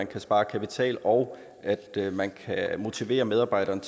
kan spare kapital og motivere medarbejderne